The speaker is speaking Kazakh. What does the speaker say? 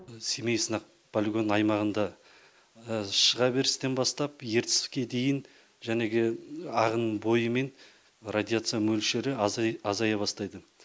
семей сынақ полигон аймағында шыға берістен бастап ертіске дейін ағын бойымен радиация мөлшері азая азая бастайды